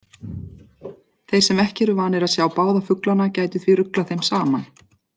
Þeir sem ekki eru vanir að sjá báða fuglana gætu því ruglað þeim saman.